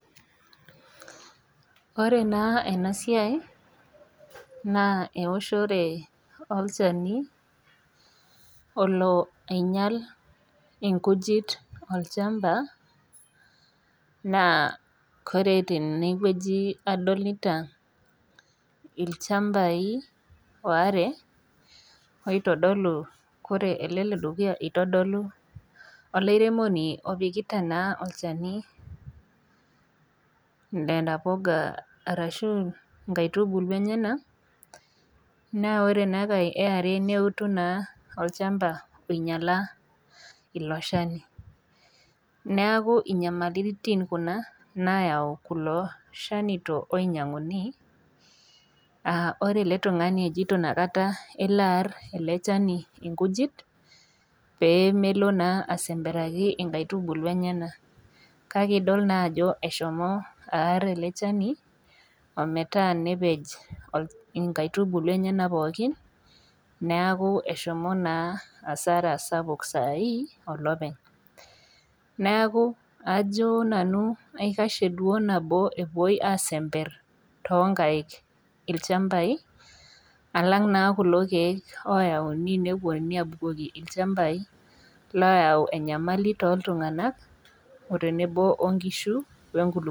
Ore naa ena siai naa ewoshore olchani oloo ainyial nkujit too olchamba naa ore tenewueji adolita ilchambai are oitodolu ore ele ledukuyu eitodolu olairemoni apikita olchani Nena puka arashu nkaitubulu enyena ore ena yare neutu olchamba oinyiala elo Shani neeku nyamalitin nayau kulo shanito oinyianguni ore ele tung'ani ojoito kelo ele Shani AR ee nkujit pemelo naa asemperakino nkaitubulu enyena kake edol naa Ajo eshomo ar ele Shani ometaa nepej enkaitubulu enyena pookin neeku eshomo naa asara sapuk sahi oloopeny neeku Ajo nanu aikashie nabo epuoi aisember too nkaik ilchambai alag naa kulo keek lotaunj nepuonunui abukoki ilchambai layau enyamali too iltung'ana oo tenebo oo nkishu oo enkulupuoni